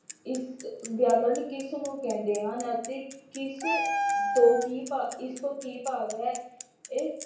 ਇਸ ਵਿਆਕਰਨ ਕਿਸ ਨੂੰ ਕਹਿੰਦੇ ਹਨ ਅਤੇ ਕਿਸ ਤੋਂ ਕੀ ਭਾਵ, ਇਸ ਤੋਂ ਕੀ ਭਾਵ ਹੈ? ਇਹ